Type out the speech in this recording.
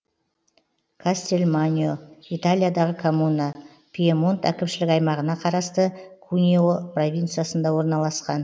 кастельманьо италиядағы коммуна пьемонт әкімшілік аймағына қарасты кунео провинциясында орналасқан